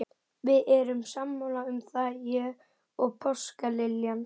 Við erum sammála um það, ég og páskaliljan.